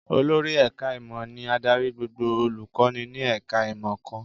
Olórí ẹ̀ká ìmọ̀ ni adarí gbogbo olùkọ́ni ní ẹ̀ká ìmọ̀ kan